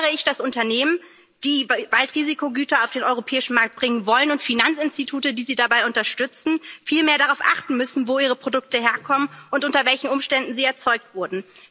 Darum fordere ich, dass Unternehmen, die bald Risikogüter auf den europäischen Markt bringen wollen, und Finanzinstitute, die sie dabei unterstützen, viel mehr darauf achten müssen, wo ihre Produkte herkommen und unter welchen Umständen sie erzeugt wurden.